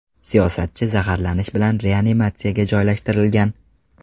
Siyosatchi zaharlanish bilan reanimatsiyaga joylashtirilgan.